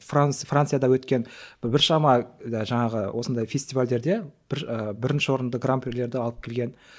францияда өткен біршама жаңағы осындай фестивальдерде бір і бірінші орынды гранприлерді алып келген